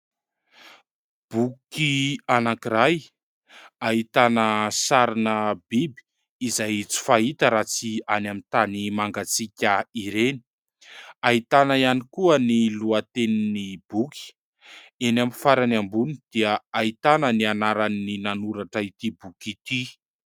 Boky anankiray ahitana sarina biby izay tsy fahita raha tsy any amin'ny tany mangatsiaka ireny. Ahitana ihany koa ny lohatenin'ny boky. Any amin'ny farany ambony dia ahitana ny anaran'ny nanoratra ity boky ity.